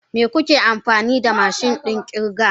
Me muke amfani da mashin din kirga?